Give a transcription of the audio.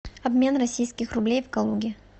обмен российских рублей в калуге